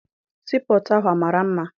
Sii pọtụ ahụ amara mma?